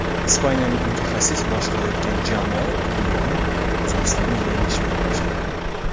Ispaniyalik mutaxassis boshqarayotgan jamoa turnirni O‘zbekistonni yengish bilan boshlagandi.